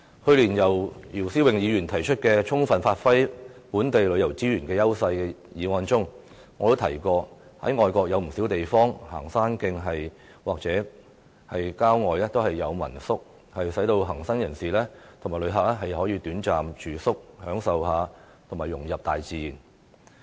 去年，姚思榮議員提出"充分發揮本地旅遊資源的優勢"議案，我曾經提到外國不少地方的行山徑或郊外設有民宿，供行山人士和旅客短暫住宿，享受和融入大自然。